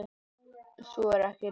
Sú er ekki raunin.